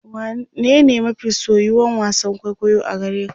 wane ne mafi soyuwan wasan kwaikwayo a gareka?